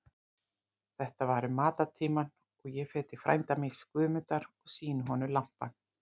Þetta var um matartímann og ég fer til frænda míns, Guðmundar, og sýni honum lampann.